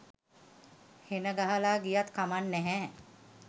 හෙන ගහල ගියත් කමක් නැහැ.